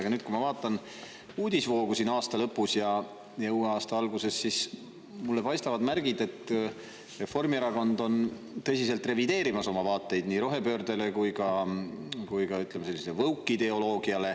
Aga kui ma vaatan aasta lõpu ja uue aasta alguse uudisevoogu, siis mulle paistavad märgid, et Reformierakond on tõsiselt revideerimas oma vaateid nii rohepöördele kui ka, ütleme, sellisele woke-ideoloogiale.